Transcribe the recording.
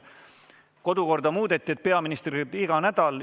Kodukorda aga muudeti nii, et peaminister käib siin iga nädal.